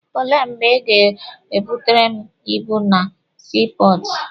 Olee mgbe Ị ga-ebutere m ibu m na sii pọọtụ?